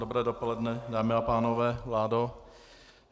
Dobré dopoledne, dámy a pánové, vládo.